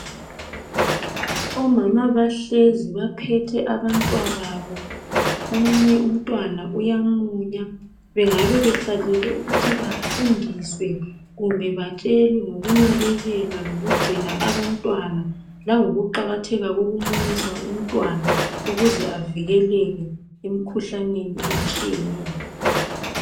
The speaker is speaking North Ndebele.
Omama bahlezi baphethe abantwababo omunye umntwana uyamunya. Bengabe behlalele ukuthi bafundiswe kumbe batshelwe ngokunakekela lokugcina abantwana langokuqakatheka kokumunyisa umntwana ukuze avikeleke emikhuhlaneni etshiyeneyo.